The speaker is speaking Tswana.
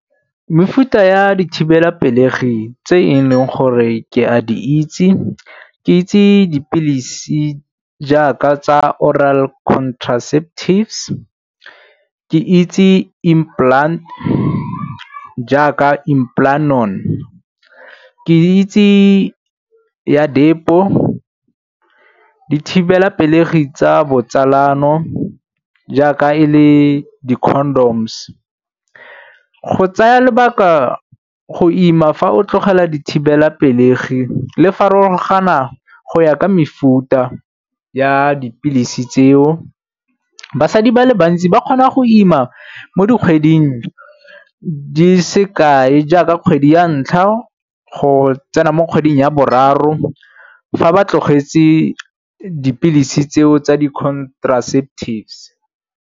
Mefuta ya dithibelapelegi tse e leng gore ke a di itse, ke itse dipilisi jaaka tsa oral contraceptives, ke itse implant jaaka Implanon. Ke itse ya depo, dithibelapelegi tsa botsalano jaaka e le di-condoms. Go tsaya lebaka go ima fa o tlogela dithibelapelegi le farologana go ya ka mefuta ya dipilisi tseo, basadi ba le bantsi ba kgona go ima mo dikgweding di se kae jaaka kgwedi ya ntlha go tsena mo kgweding ya boraro fa ba tlogetse dipilisi tseo tsa di-contraceptives.